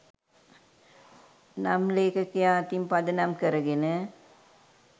නම් ලේඛකයා අතින් පදනම් කරගෙන